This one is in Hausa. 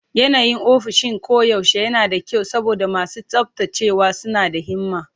Yanayin ofishin koyaushe yana da kyau saboda masu tsaftacewa suna da himma.